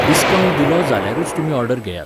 Discount दिलो जाल्यारूच तुमी ऑर्डर घेयात.